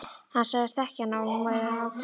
Hann sagðist þekkja hana og hún væri ágæt.